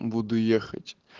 буду ехать